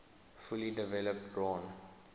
fully developed drawn